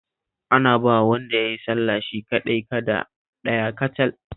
Ana bawa wanda ya yi sallah shi kaɗai kada ɗaya kacal